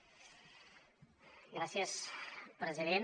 gràcies president